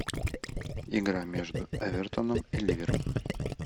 игра между эвертоном и ливером